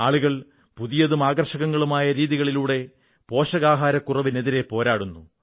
ആളുകൾ പുതിയതും ആകർഷകങ്ങളുമായ രീതികളിലൂടെ പോഷകാഹാരക്കുറവിനെതിരെ പോരാടുന്നു